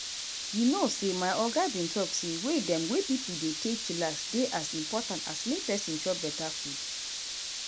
you know say my oga bin talk say way dem wey pipo dey take chillax dey as impotant as make peson chop beta food.